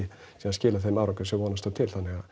skilað þeim árangri sem vonast var til þannig